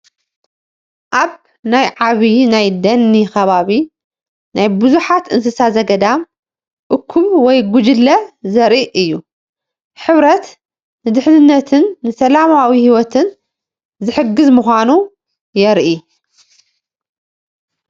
ኣብ ናይ ዓብይ ናይ ደኒ ከባቢ ናይ ብዙሓት እንስሳ ዘገዳም እኩብ ወይ ጉጅለ ዘርኢ እዩ፡፡ ሕብረት ንድሕንነትን ንሰላማዊ ሂወትን ዝሕግዝ ምዃኑ የርኢ፡፡